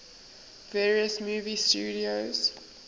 various movie studios